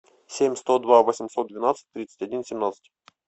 семь сто два восемьсот двенадцать тридцать один семнадцать